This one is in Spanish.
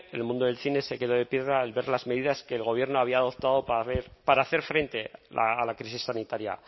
el mundo del cine se quedó de piedra al ver las medidas que el gobierno había adoptado para hacer frente a la crisis sanitaria